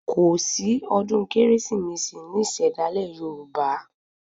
Kòsí ọdún Kérésìmesì ní ìṣẹ̀dálẹ̀ Yoruba